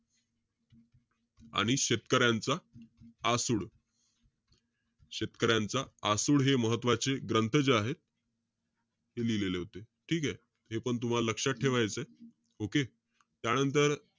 आणि शेतकऱ्यांचा आसूड, शेतकऱ्यांचा आसूड हे महत्वाचे ग्रंथ जे आहेत ते लिहिलेले होते. ठीकेय? हेपण तुम्हाला लक्षात ठेवायचंय. Okay? त्यांनतर,